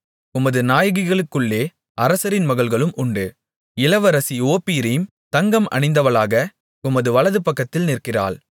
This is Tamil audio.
உமது நாயகிகளுக்குள்ளே அரசரின் மகள்களும் உண்டு இளவரசி ஓப்பீரின் தங்கம் அணிந்தவளாக உமது வலதுபக்கத்தில் நிற்கிறாள்